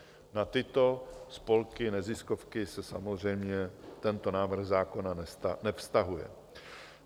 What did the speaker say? Na tyto spolky neziskovky se samozřejmě tento návrh zákona nevztahuje.